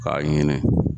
K'a ɲini